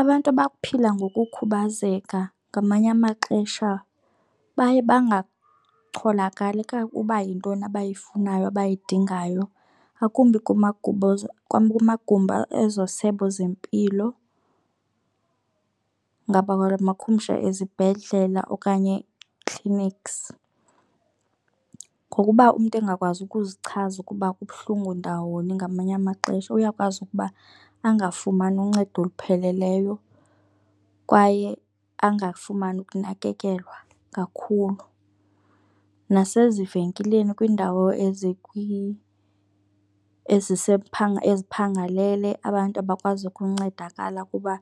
Abantu abaphila ngokukhubazeka ngamanye amaxesha baye bangacholakali uba yintoni abayifunayo abayidingayo ngakumbi kumagumbi ezo sebe zempilo, ngabula makhumsha ezibhedlela okanye clinics. Ngokuba umntu engakwazi ukuzichaza ukuba kubuhlungu ndawoni ngamanye amaxesha uyakwazi ukuba angafumani uncedo olupheleleyo kwaye angafumani ukunakekelwa kakhulu. Nasezivenkileni kwiindawo eziphangalele, abantu abakwazi ukuncedakala kuba